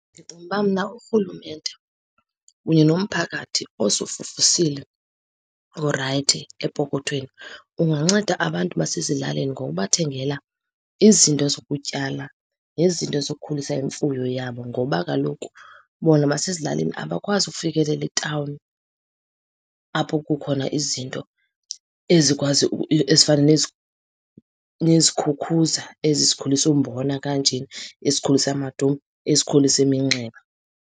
Ndicinga uba mna urhulumente kunye nomphakathi osufufusile, orayithi epokothweni unganceda abantu basezilalini ngokubathengela izinto zokutyala nezinto zokukhulisa imfuyo yabo. Ngoba kaloku bona basezilalini abakwazi ukufikelela etawuni, apho kukhona izinto ezikwazi , ezifana nezikhukhuza ezi zikhulisa umbona kanjena, ezikhulisa amadumbe, ezikhulisa iminxeba.